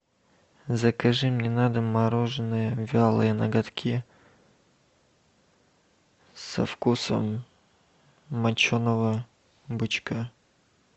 закажи мне на дом мороженое вялые ноготки со вкусом моченого бычка